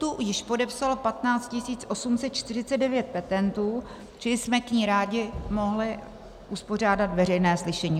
Tu již podepsalo 15 849 petentů, čili jsme k ní rádi mohli uspořádat veřejné slyšení.